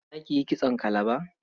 Za ki yi kitson kalaba?